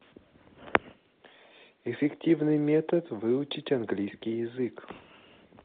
эффективный метод выучить английский язык